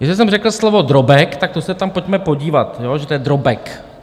Jestli jsem řekl slovo drobek, tak to se tam pojďme podívat, že to je drobek.